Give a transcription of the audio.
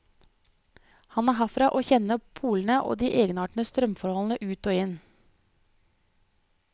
Han er herfra og kjenner pollene og de egenartede strømforholdene ut og inn.